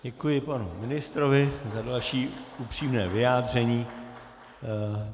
Děkuji panu ministrovi za další upřímné vyjádření.